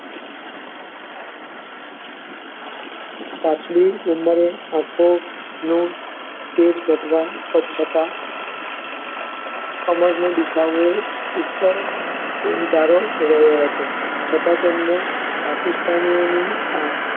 સ્વચ્છતા, કમરનો દુઃખાવો અને આરામ કરવાનો હતો છતાં તેમણે પાકિસ્તાનીઓની ની અર